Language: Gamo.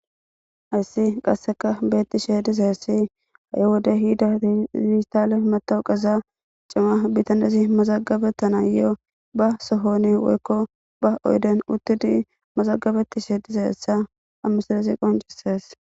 Hayssi qasseka beetti shehe dizayassi a7 wodey hida zistaale matowu qeza cima bitandesi mazagabettana yo7o ba sohoni woykko ba oyden uttidi mazagabeti shee diza yessa amisaresi qoncises